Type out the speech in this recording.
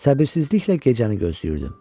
Səbirsizliklə gecəni gözləyirdim.